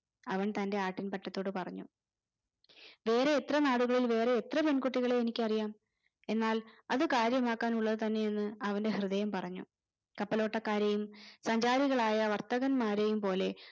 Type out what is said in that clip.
അവൻ തന്റെ ആട്ടിൻ പറ്റത്തോട് പറഞ്ഞു വേറെ എത്രനാടുകളും വേറെ എത്ര പെൺകുട്ടികളെയും എനിക്കറിയാം എന്നാൽ അത് കാര്യമാക്കാനുള്ളതന്നെയെന്ന് അവന്റെ ഹൃദയം പറഞ്ഞു കപ്പലോട്ടക്കാരെയും സഞ്ചാരികളായ വർത്തകന്മാരെയും പോലെ